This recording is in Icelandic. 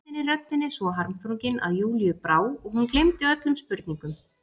Tónninn í röddinni svo harmþrunginn að Júlíu brá og hún gleymdi öllum spurningum.